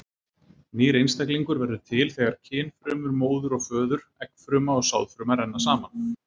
Nýr einstaklingur verður til þegar kynfrumur móður og föður, eggfruma og sáðfruma, renna saman.